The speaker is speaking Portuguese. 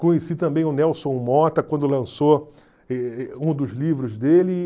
Conheci também o Nelson Motta quando lançou um dos livros dele.